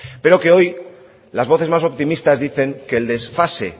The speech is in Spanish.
pero que hoy las voces más optimistas dicen que el desfase